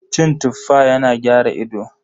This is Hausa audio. Cin Tuffa yana gyara ido.